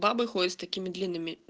бабы ходят с такими длинным